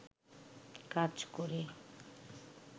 কাজ করে